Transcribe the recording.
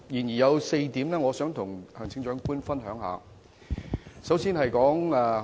然而，我想與行政長官分享其中4點。